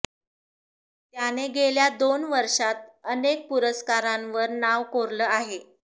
त्याने गेल्या दोन वर्षांत अनेक पुरस्कारांवर नाव कोरलं आहे